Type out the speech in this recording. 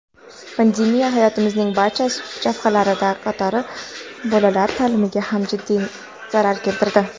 pandemiya hayotimizning barcha jabhalari qatori bolalar ta’limiga ham jiddiy zarar keltirdi.